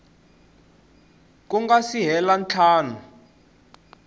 ku nga si hela ntlhanu